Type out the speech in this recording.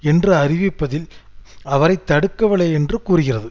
என்று அறிவிப்பதில் அவரை தடுக்கவில்லை என்று கூறுகிறது